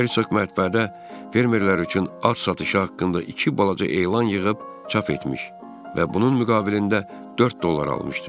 Hersoq mətbuatda fermerlər üçün az satışı haqqında iki balaca elan yığıb çap etmiş və bunun müqabilində 4 dollar almışdı.